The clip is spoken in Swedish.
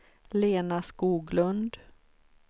Lena Skoglund